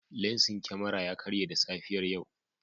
Lensin kyamara ya karye da safiyar yau.